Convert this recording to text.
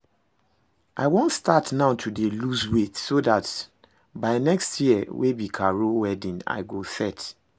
I wan start now to dey lose weight so dat by next year wey be Carol wedding I go set